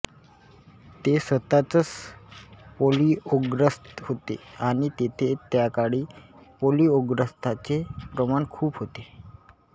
ते स्वतःच पोलिओग्रस्त होते आणि तेथे त्याकाळी पोलिओग्रस्तांचे प्रमाण खूप होते